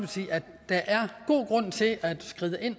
der er god grund til at skride ind